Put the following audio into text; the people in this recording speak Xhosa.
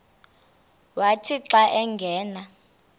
wathi xa angena